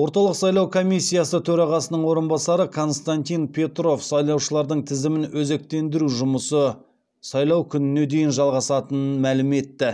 орталық сайлау комиссиясы төрағасының орынбасары константин петров сайлаушылардың тізімін өзектендіру жұмысы сайлау күніне дейін жалғасатынын мәлім етті